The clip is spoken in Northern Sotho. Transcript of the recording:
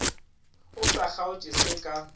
o sa kgaotše se ka